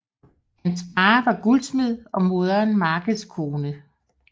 Hans far var guldsmed og moderen markedskone